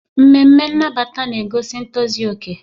Ememe nnabata na-egosi ntozu okè.